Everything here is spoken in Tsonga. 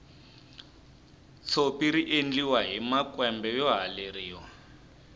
tshopi riendliwa hi makwembe yo haleriwa